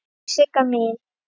Elsku Sigga mín.